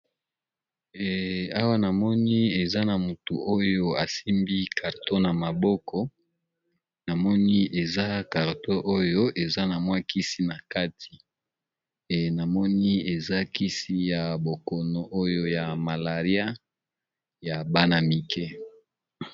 awa namoni eza na motu oyo asimbi carto na maboko namoni eza carto oyo eza na mwakisi na kati e namoni eza kisi ya bokono oyo ya malaria ya bana mike